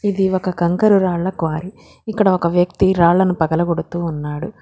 ఇది ఒక కంకర రాళ్ల క్వారీ ఇక్కడ ఒక వ్యక్తి రాళ్ళను పగలగొడుతూ ఉన్నాడు.